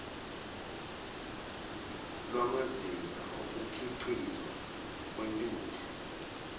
lwamazinga okukhiqizwa kwentuthu